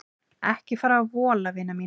Ekki fara að vola vina mín.